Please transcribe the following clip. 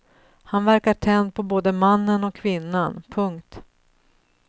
Han verkar tänd på både mannen och kvinnan. punkt